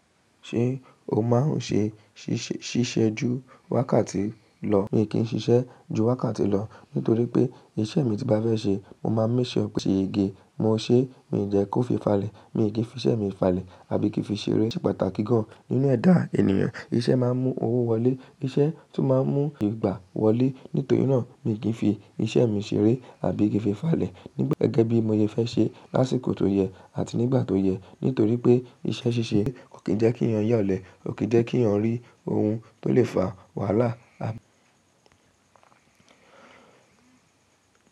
Ṣé o máa ń ṣe ṣíṣe ju wákàtí lọ? Mi kì í ṣiṣẹ́ ju wákàtí lọ nítorí pé iṣẹ́ mi tí bá fẹ́ ṣe, mo máa n make sure ṣe ṣèyege mo ṣe, mi n jẹ kó fi falẹ̀, mi kì í fi iṣẹ́ mi falẹ̀ àbí kí fi ṣeré. Ó ṣe pàtàkì gan-an nínú ẹ̀dá ènìyàn, iṣẹ́ máa ń mú owó wọlé, iṣẹ́ tún má ń mú ìgbà wọlé. Nítorí náà, mi kì í fi iṣẹ́ mi ṣeré àbí kí fi falẹ̀. Gẹ́gẹ́ bí mo sẹ fẹ́ ṣe lásìkò tó yẹ àti nígbà tó yẹ. Nítorí pé iṣẹ́ ṣíṣe kò kí n jẹ́ kí ènìyàn yà ole, kò kí jẹ́ kí èeyàn rí ohun tó lè fa wàhálà à.